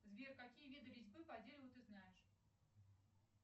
сбер какие виды резьбы по дереву ты знаешь